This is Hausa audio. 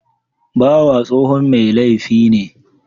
Bawa tsohon mai laifi ne